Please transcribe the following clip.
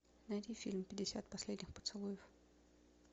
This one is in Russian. найди фильм пятьдесят последних поцелуев